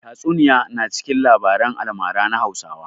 Tatsuniya na cikin labaran almara na Hausawa.